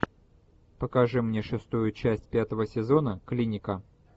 покажи мне шестую часть пятого сезона клиника